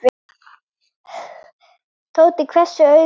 Tóti hvessti augum.